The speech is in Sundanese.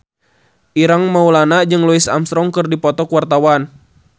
Ireng Maulana jeung Louis Armstrong keur dipoto ku wartawan